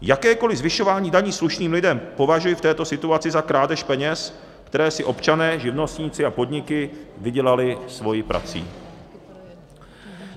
Jakékoli zvyšování daní slušným lidem považuji v této situaci za krádež peněz, které si občané, živnostníci a podniky vydělali svou prací.